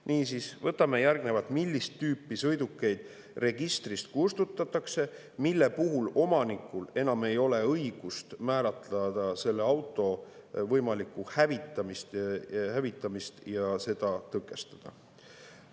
Niisiis järgnevalt, millist tüüpi sõidukeid registrist kustutatakse, mille puhul omanikul enam ei ole õigust määratleda selle auto võimalikku hävitamist ja seda tõkestada.